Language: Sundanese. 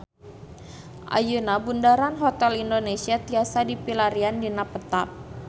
Ayeuna Bundaran Hotel Indonesia tiasa dipilarian dina peta